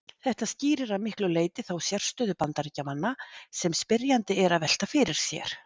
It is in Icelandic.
Þetta skýrir að miklu leyti þá sérstöðu Bandaríkjamanna sem spyrjandi er að velta fyrir sér.